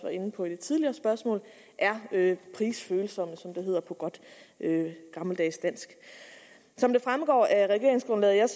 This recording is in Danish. inde på i det tidligere spørgsmål er prisfølsomme som det hedder på godt gammeldags dansk som det fremgår af regeringsgrundlaget